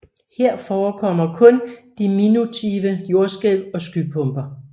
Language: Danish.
Her forekommer kun diminutive jordskælv og skypumper